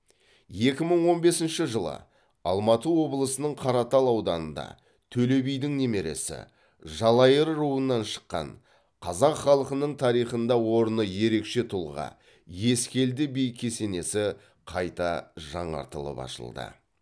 екі мың он бесінші жылы алматы облысының қаратал ауданында төле бидің немересі жалайыр руынан шыққан қазақ халқының тарихында орны ерекше тұлға ескелді би кесенесі қайта жаңартылып ашылды